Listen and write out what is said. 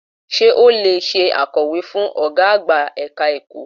Sé o lè se akọ̀wé fún Ọ̀gá àgbà ẹ̀ka ẹ̀kọ́?